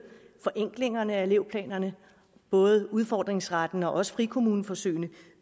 forenklinger af elevplanerne både udfordringsretten og også frikommuneforsøgene